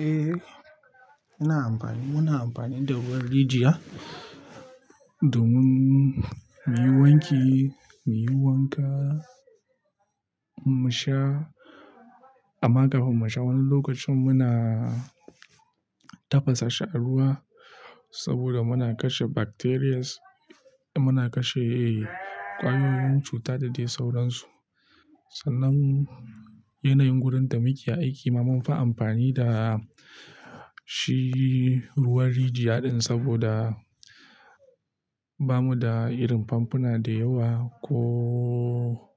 Eh, muna amfani, muna amfani da ruwan rijiya domin muyi wanki, muyi wanka, mu sha. Amma kafin musha, wani lokacin muna tafasa shi a ruwa saboda muna kashe bacterias, muna kashe kwayoyin cuta da dai sauransu. Sannan yanayin wurin da muke aiki ma mun fa amfani da shi ruwan rijiya din saboda bamu da irin famfuna da yawa ko,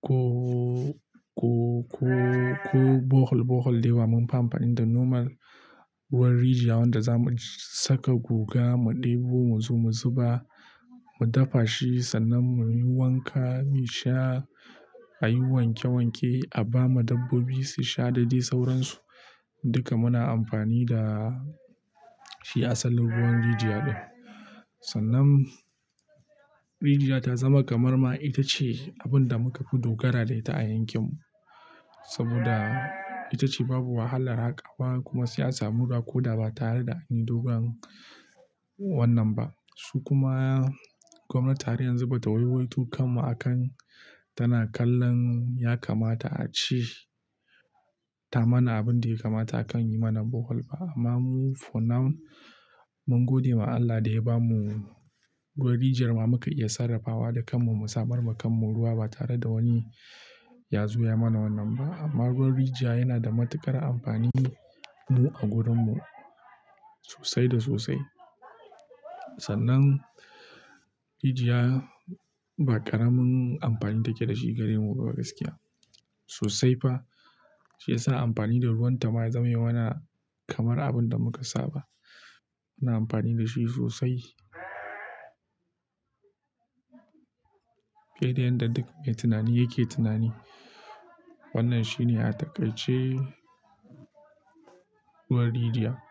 ko, ko, ko, ko Bohol, Bohol da yawa. Mun fi amfani da normal ruwan rijiya wanda za mu saka guga, mu ɗebo, mu zo mu zuba, mu dafa shi sannan muyi wanka, mu sha, ayi wanke wanke, a ba ma dabbobi su sha da dai sauransu. Duka muna amfani da shi asalin ruwan rijiya din. Sannan rijiya ta zama kamar ma ita ce abin da muka fi dogara da ita a yankin mu saboda ita ce babu wahalar haka wa kuma sai an samu ruwa ko da ba tare da anyi dogon wannan ba. Su kuma gwamnati har yanzu bata waiwaito kammu akan tana kallon ya kamata ace, ta mana abin da ya kamata akan yi mana Bohol ba. Amma mu for now mun gode ma Allah da ya bamu ruwan rijiyar ma muka iya sarrafawa da kanmu, mu samar ma kanmu ruwa ba tare da wani ya zo ya mana wannan ba. Amma ruwan rijiya yana da matuƙar amfani mu a gurin mu sosai da sosai. Sannan rijiya ba ƙaramin amfani take da shi gare mu ba gaskiya. Sosai fa, shi ya sa amfani da ruwan ta ma ya zame mana kamar abin da muka saba. Muna amfani da shi sosai. Dai dai yanda duk mai tunani yake tunani, wannan shi ne a takai ce ruwan rijiya.